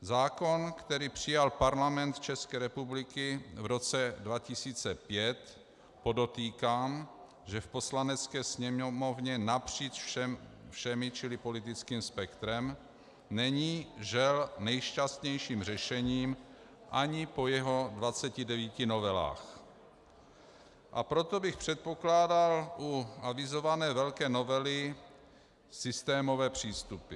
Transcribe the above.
Zákon, který přijal Parlament České republiky v roce 2005, podotýkám, že v Poslanecké sněmovně napříč všemi, čili politickým spektrem, není, žel, nejšťastnějším řešením ani po jeho 29 novelách, a proto bych předpokládal u avizované velké novely systémové přístupy.